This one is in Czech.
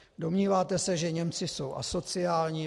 Domníváte se, že Němci jsou asociální?